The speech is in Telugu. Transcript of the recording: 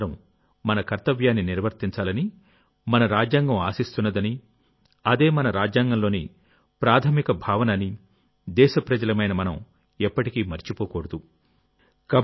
మనమందరం మన కర్తవ్యాన్ని నిర్వర్తించాలనిమన రాజ్యాంగం ఆశిస్తున్నదని అదే మన రాజ్యాంగంలోని ప్రాథమిక భావన అని దేశప్రజలమైన మనం ఎప్పటికీ మరచిపోకూడదు